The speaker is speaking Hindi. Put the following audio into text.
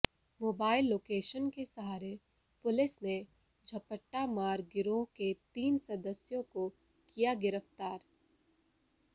मोबाइल लोकेशन के सहारे पुलिस ने झपट्टामार गिरोह के तीन सदस्यों को किया गिरफ्तार